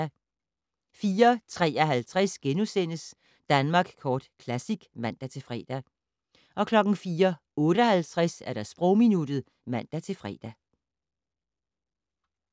04:53: Danmark Kort Classic *(man-fre) 04:58: Sprogminuttet (man-fre)